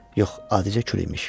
Yox, adicə kül imiş.